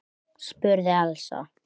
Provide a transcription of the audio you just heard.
spurði Elsa.